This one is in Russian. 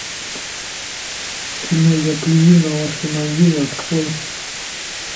кино я плюю на ваши могилы открой